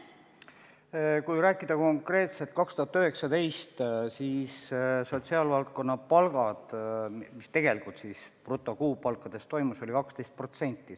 Kui rääkida konkreetselt aastast 2019, siis kui vaadata, mis sotsiaalvaldkonna brutokuupalkades toimus, siis tõus oli 12%.